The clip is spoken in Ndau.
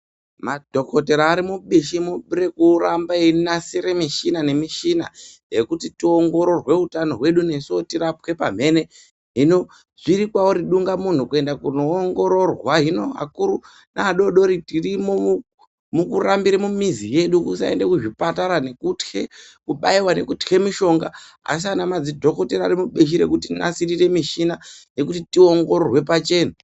Madhokoteya ari mupishi rekuramba eyikasire mishuna nemishina yekuti toongorowe hutano wedu nesuwo tirapwe pamhene hino zvirinkwauri dunga munhu kuenda kuno ongororwa akuru neadooodori tirimo mukurambire mumizi yedu nekusaende kuzvipatara nekutye kubayirwa nekutye mishonga asi ana madzidhokoteya anopishire kuti nasirire mishuna yekuti tiongororwe pachena.